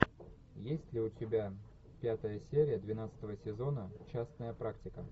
есть ли у тебя пятая серия двенадцатого сезона частная практика